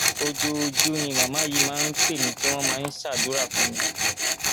ojoojú ni màmá yìí máa ń pè mí tí wọn máa ń ṣàdúrà fún mi